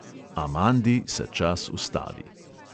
Amandi se čas ustavi.